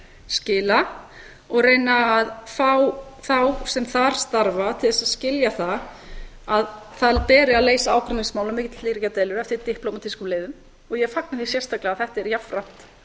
skila og reyna að fá þá sem þar starfa til þess að skilja það að það beri að leysa ágreiningsmál og milliríkjadeilur eftir diplómatískum leiðum og ég fagna því sérstaklega að þetta er jafnframt